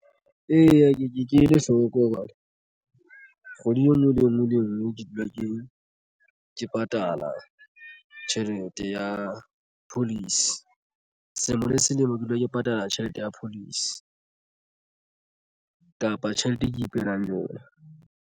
Eya, ke ke ele hloko hobane kgwedi e nngwe le e nngwe le e nngwe ke dula ke patala tjhelete ya policy selemo le selemo ke dula ke patala tjhelete ya policy kapa tjhelete e ke ipehelang yona.